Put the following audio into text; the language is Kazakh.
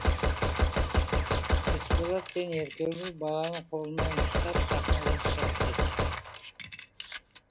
есболат пен еркегүл баланы колынан ұстап сахнадан шығып кетеді